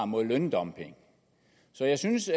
mod løndumping så jeg synes